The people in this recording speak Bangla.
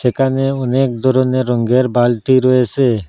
এখানে অনেক ধরনের রঙের বালতি রয়েসে।